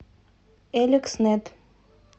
элекснет